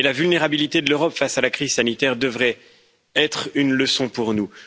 La vulnérabilité de l'Europe face à la crise sanitaire devrait être une leçon pour nous.